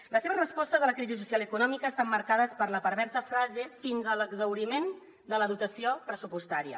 les seves respostes a la crisi social i econòmica estan marcades per la perversa frase fins a l’exhauriment de la dotació pressupostària